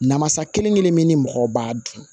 Namasa kelen kelen min ni mɔgɔ b'a dun